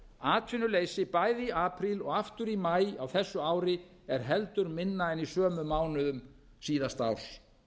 atvinnuleysi bæði í apríl og aftur í maí á þessu ári er heldur minna en í sömu mánuðum síðasta árs